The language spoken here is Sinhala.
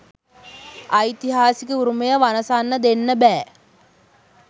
ඓතිහාසික උරුමය වනසන්න දෙන්න බෑ.